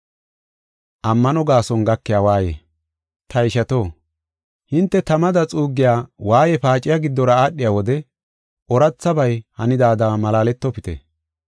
Ta ishato, hinte tamada xuuggiya waaye paaciya giddora aadhiya wode oorathabay hanidaada malaaletofite.